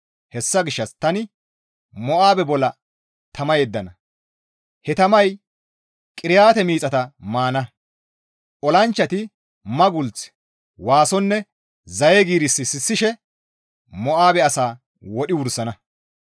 Hessa gishshas tani Mo7aabe bolla tama yeddana; he tamay Qiriyaate miixata maana. Olanchchati maggulth, waasonne zaye giiris sissishe Mo7aabe asaa wodhi wursana.